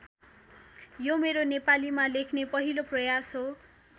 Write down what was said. यो मेरो नेपालीमा लेख्ने पाहिलो प्रयास हो।